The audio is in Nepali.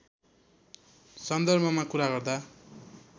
सन्दर्भमा कुरा गर्दा